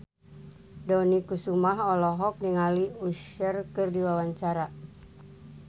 Dony Kesuma olohok ningali Usher keur diwawancara